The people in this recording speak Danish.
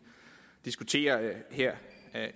diskuterer her